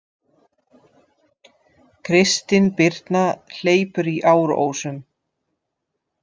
Kristin Birna hleypur í Árósum